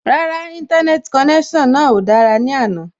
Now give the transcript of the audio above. Rárá, Íńtánẹ́ẹ̀tì konẹ́sàn náà ò dára ní àná